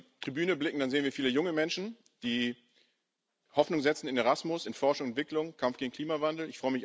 Wenn wir auf die Tribüne blicken, dann sehen wir viele junge Menschen, die Hoffnung setzen in Erasmus, in Forschung und Entwicklung, Kampf gegen den Klimawandel.